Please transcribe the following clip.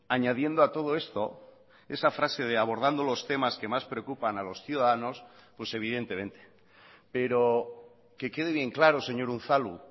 añadiendo a todo esto esa frase de abordando los temas que más preocupan a los ciudadanos pues evidentemente pero que quede bien claro señor unzalu